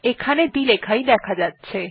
এখানে দুটি লেখাই দেখা যাচ্ছে